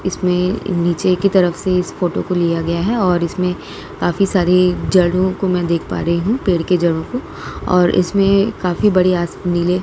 इसमें नीचे एक ही तरफ से इस फोटो को लिया गया है और इसमें काफी सारी जड़ों को मैं देख पा रही हूँ पेड़ के जड़ों को और इसमें काफी बढ़िया अस नीले --